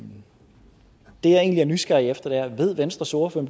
egentlig er nysgerrig efter er ved venstres ordfører